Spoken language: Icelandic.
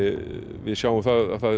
við sjáum það